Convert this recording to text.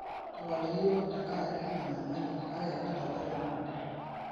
tapaliki iyiok te nkaraki ina nyamali kake kiintobir tenakata